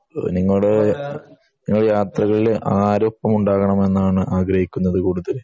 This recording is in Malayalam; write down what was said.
അപ്പൊ നിങ്ങൾ യാത്രകളിൽ ആരൊപ്പം ഉണ്ടാവണമെന്നാണ് ആഗ്രഹിക്കുന്നത് ഏറ്റവും കൂടുതൽ